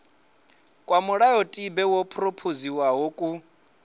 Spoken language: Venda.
kwa mulayotibe wo phurophoziwaho ku